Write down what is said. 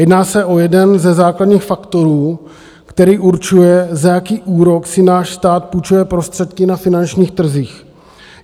Jedná se o jeden ze základních faktorů, který určuje, za jaký úrok si náš stát půjčuje prostředky na finančních trzích.